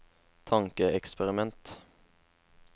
tankeeksperiment